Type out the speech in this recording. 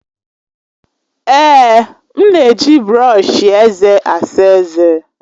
Èè, m na-eji brọọshi eze asa eze.